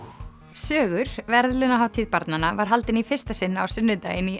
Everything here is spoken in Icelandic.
sögur verðlaunahátíð barnanna var haldin í fyrsta sinn á sunnudaginn í